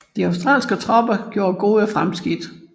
De australske tropper gjorde gode fremskridt